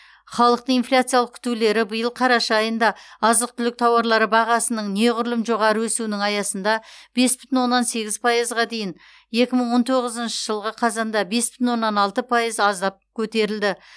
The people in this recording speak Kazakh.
халықтың инфляциялық күтулері биыл қараша айында азық түлік тауарлары бағасының неғұрлым жоғары өсуінің аясында бес бүтін оннан сегіз пайызға дейін екі мың он тоғызыншы жылғы қазанда бес бүтін оннан алты пайыз аздап көтерілді